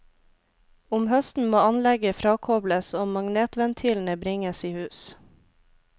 Om høsten må anlegget frakobles og magnetventilene bringes i hus.